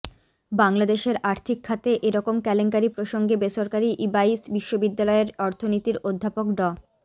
বাংলাদেশের আর্থিক খাতে এরকম কেলেঙ্কারি প্রসঙ্গে বেসরকারি ইবাইস বিশ্ববিদ্যালয়ের অর্থনীতির অধ্যাপক ড